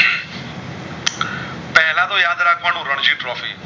Ranjit trophy